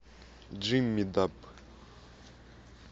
джимми даб